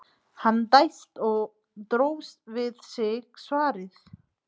Hann dæsti og dró við sig svarið.